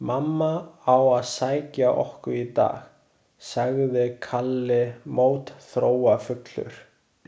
Mamma á að sækja okkur í dag, sagði Kalli mótþróafullur.